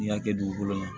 N'i y'a kɛ dugukolo la